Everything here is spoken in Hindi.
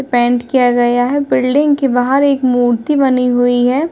पैंट किया गया है बिल्डिंग के बाहर एक मूर्ती बनी हुई है।